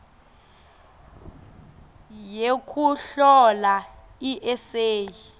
yekuhlola i eseyi